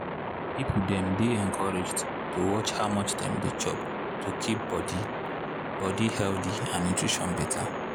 people dem dey encouraged to watch how much dem dey chop to keep body body healthy and nutrition better.